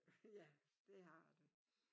Ja det har det